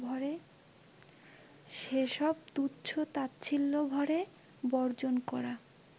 সেসব তুচ্ছ-তাচ্ছিল্যভরে বর্জন করা